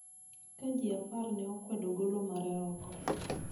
ka ji apar ne kwedo golo mare oko.